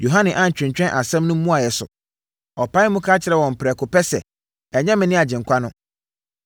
Yohane antwentwɛn asɛm no mmuaeɛ so. Ɔpaee mu ka kyerɛɛ wɔn prɛko pɛ sɛ, “Ɛnyɛ mene Agyenkwa no.”